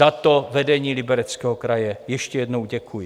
Za to vedení Libereckého kraje ještě jednou děkuji.